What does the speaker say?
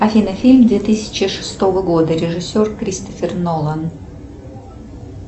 афина фильм две тысячи шестого года режиссер кристофер нолан